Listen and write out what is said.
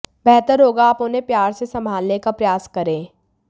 बेहतर होगा आप उन्हें प्यार से संभालने का प्रयास करें